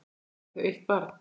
Eiga þau eitt barn.